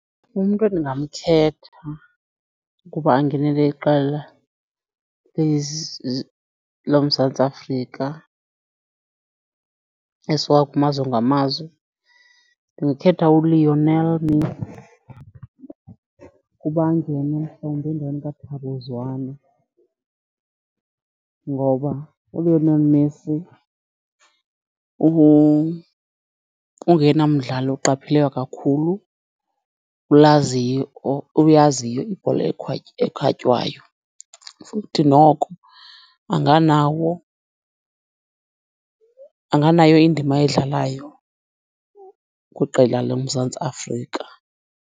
Umntu edingamkhetha ukuba angenele iqela loMzantsi Afrika esuka kumazwe ngamazwe ndingakhetha uLionel Messi ukuba angene endaweni kaThabo Zwane. Ngoba uLionel Messi ungoyena mdlali oqapheleka kakhulu, olaziyo, oyaziyo ibhola ekhatywayo futhi noko anganawo, anganayo indima ayidlalayo kwiqela loMzantsi Afrika.